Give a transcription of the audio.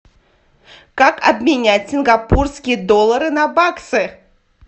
как обменять сингапурские доллары на баксы